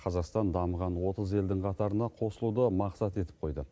қазақстан дамыған отыз елдің қатарына қосылуды мақсат етіп қойды